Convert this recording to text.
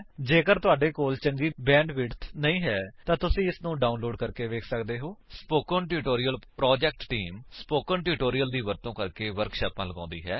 ਜੇਕਰ ਤੁਹਾਡੇ ਕੋਲ ਚੰਗੀ ਬੈਂਡਵਿਡਥ ਨਹੀਂ ਹੈ ਤਾਂ ਤੁਸੀ ਇਸਨੂੰ ਡਾਉਨਲੋਡ ਕਰਕੇ ਵੇਖ ਸੱਕਦੇ ਹੋ spoken tutorial project team spoken tutorials ਦੀ ਵਰਤੋ ਕਰਕੇ ਵਰਕਸ਼ਾਪਾਂ ਲਗਾਉਂਦੀ ਹੈ